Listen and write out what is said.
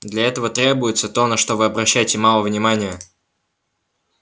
для этого требуется то на что вы обращаете мало внимания